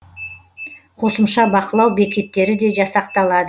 қосымша бақылау бекеттері де жасақталады